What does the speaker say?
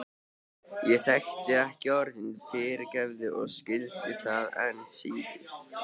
Ég þekkti ekki orðið fyrirgefðu og skildi það enn síður.